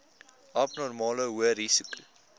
abnormale hoë risiko